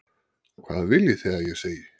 Hvað viljið þið að ég segi?